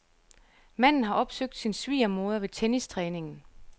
Manden har opsøgt sin svigermoder ved tennistræningen.